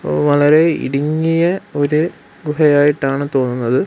വളരെ ഇടുങ്ങിയ ഒര് ഗുഹയായിട്ടാണ് തോന്നുന്നത്.